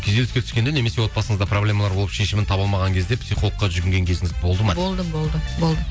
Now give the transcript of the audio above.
күйзеліске түскенде немесе отбасыңызда проблемалар болып шешімін таба алмаған кезде психологқа жүгінген кезіңіз болды ма дейді болды болды болды